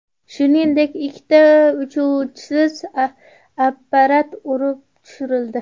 Shuningdek, ikkita uchuvchisiz apparat urib tushirildi.